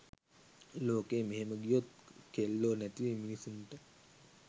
ලෝකෙ මෙහෙම ගියොත් කෙල්ලො නැති වෙයි මිනිස්සුන්ට.